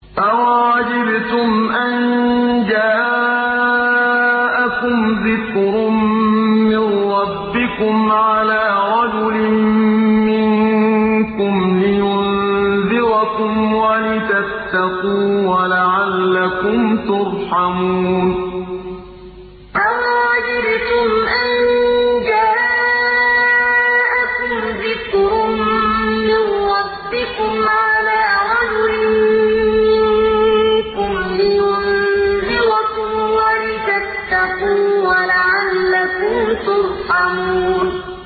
أَوَعَجِبْتُمْ أَن جَاءَكُمْ ذِكْرٌ مِّن رَّبِّكُمْ عَلَىٰ رَجُلٍ مِّنكُمْ لِيُنذِرَكُمْ وَلِتَتَّقُوا وَلَعَلَّكُمْ تُرْحَمُونَ أَوَعَجِبْتُمْ أَن جَاءَكُمْ ذِكْرٌ مِّن رَّبِّكُمْ عَلَىٰ رَجُلٍ مِّنكُمْ لِيُنذِرَكُمْ وَلِتَتَّقُوا وَلَعَلَّكُمْ تُرْحَمُونَ